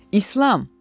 İslam!